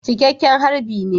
Cikakken harbi ne